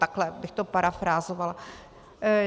Takhle bych to parafrázovala.